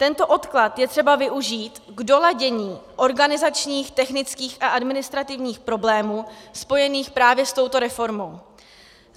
Tento odklad je třeba využít k doladění organizačních, technických a administrativních problémů spojených právě s touto reformou.